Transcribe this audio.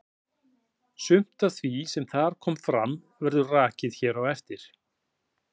Sumt af því sem þar kom fram verður rakið hér á eftir.